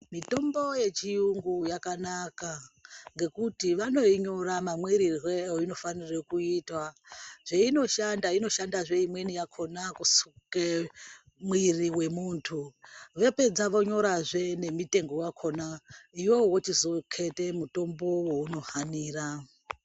Mitombo ye chiyungu yakanaka ngekuti vanoi nyora ma mwirirwe eino fanire kuitwa zveino shanda imweni yakona kuseke mwiri we muntu vepedza vonyora zvee ne mitengo wakona iwowo wochizo mete mutombo wouno hanira.